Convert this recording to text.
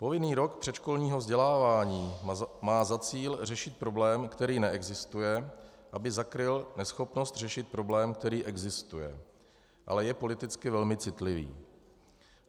Povinný rok předškolního vzdělávání má za cíl řešit problém, který neexistuje, aby zakryl neschopnost řešit problém, který existuje, ale je politicky velmi citlivý.